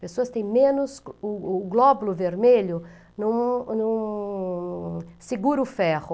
Pessoas têm menos, o o glóbulo vermelho não não segura o ferro.